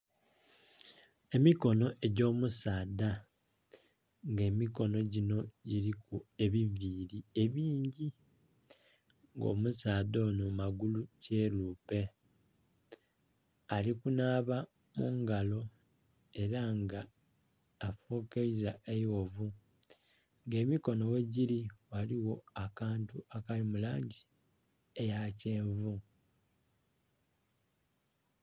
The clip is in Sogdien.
Emikono egy'omusaadha nga emikono ginho giriku ebiviiri ebingi nga omusaadha oho magulu kyerupe ali kunaaba mungalo era nga afukaiza eighovu nga emikono ghegiri ghaligho akantu akali mu langi eya kyenvu.